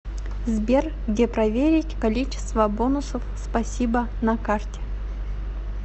сбер где проверить количество бонусов спасибо на карте